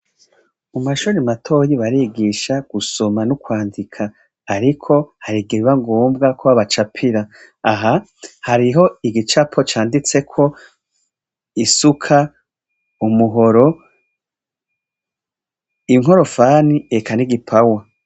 Mu mashuri matoya barigisha gusoma no kwandika ariko harigihe biba ngombwa ko babacapira aha hariho igicapo canditseko isuka, umuhoro, inkorofani eka n'igipawa.